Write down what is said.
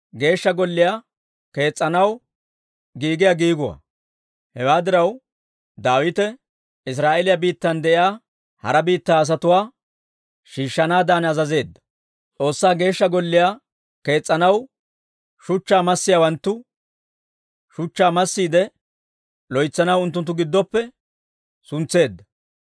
Hewaa diraw, Daawite Israa'eeliyaa biittan de'iyaa hara biittaa asatuwaa shiishshanaadan azazeedda. S'oossaa Geeshsha Golliyaa kees's'anaw shuchchaa massiyaawanttu shuchchaa massiide loytsanaw unttunttu giddoppe suntseedda.